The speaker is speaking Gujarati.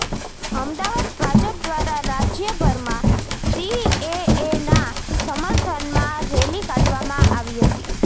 અમદાવાદઃ ભાજપ દ્વારા રાજયભરમાં સીએએના સમર્થનમાં રેલી કાઢવામાં આવી હતી